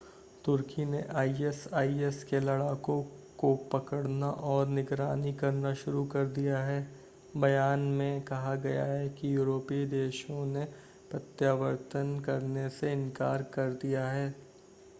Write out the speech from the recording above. तुर्की ने आईएसआईएस के लड़ाकों को पकड़ना और निगरानी करना शुरू कर दिया है बयान में कहा गया है कि यूरोपीय देशों ने प्रत्यावर्तन करने से इन्कार कर दिया है